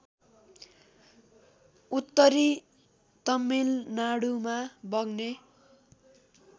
उत्तरी तमिलनाडुमा बग्ने